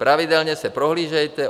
Pravidelně se prohlížejte.